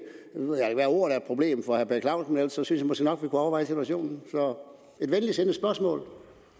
være ordet er et problem for herre per clausen men ellers synes jeg måske nok vi kunne overveje situationen så det et venligsindet spørgsmål